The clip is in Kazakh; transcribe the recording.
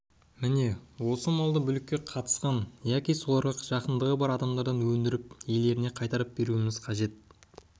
міне осы малды бүлікке қатысқан яки соларға жақындығы бар адамдардан өндіріп иелеріне қайтарып беруіміз керек